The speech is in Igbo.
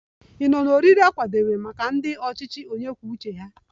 Ọ bụrụ na ị nọ n'oriri a kwadebere maka ndị ọchịchị onye kwuo uche ya